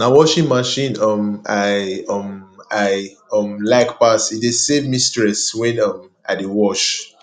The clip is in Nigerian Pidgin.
na washing machine um i um i um like pass e dey save me stress when um i dey wash